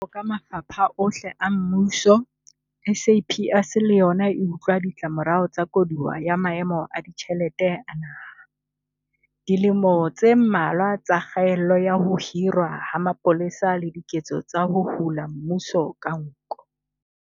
Jwaloka mafapha ohle a mmuso, SAPS le yona e utlwa ditlamorao tsa koduwa ya maemo a ditjhelete a naha, dilemo tse mmalwa tsa kgaello ya ho hirwa ha mapolesa le diketso tsa ho hula mmuso ka nko.